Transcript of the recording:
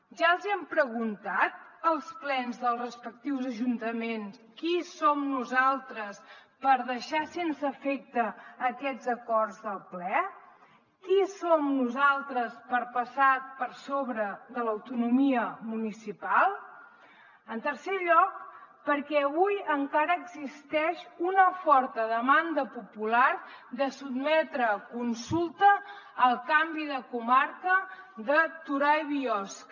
ja els hi hem preguntat als plens dels respectius ajuntaments qui som nosaltres per deixar sense efecte aquests acords del ple qui som nosaltres per passar per sobre de l’autonomia municipal en tercer lloc perquè avui encara existeix una forta demanda popular de sotmetre a consulta el canvi de comarca de torà i biosca